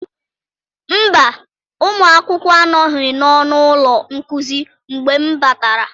Mba, ụmụ akwụkwọ anọghị n'ọnụ ụlọ nkuzi mgbe m batara.